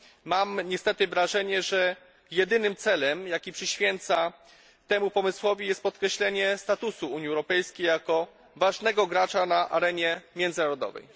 Mam niestety wrażenie, że jedynym celem, jaki przyświeca temu pomysłowi, jest podkreślenie statusu Unii Europejskiej jako ważnego gracza na arenie międzynarodowej.